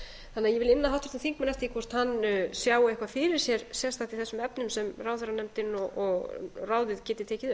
þannig að ég vil inna háttvirtan þingmann eftir því hvort hann sjái eitthvað fyrir sér sérstakt í þessum efnum sem ráðherranefndin og ráðið geti tekið